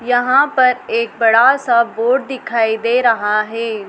यहां पर एक बड़ा सा बोर्ड दिखाई दे रहा है।